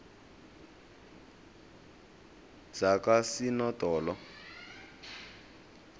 zakosinodolo